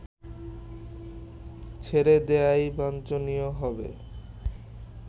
ছেড়ে দেয়াই বাঞ্ছনীয় হবে